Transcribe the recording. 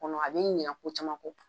Kɔnɔ a b'i ɲina ko caman kɔ.